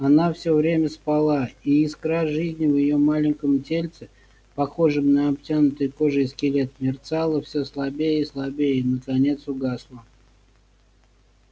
она всё время спала и искра жизни в её маленьком тельце похожем на обтянутый кожей скелет мерцала все слабее и слабее и наконец угасла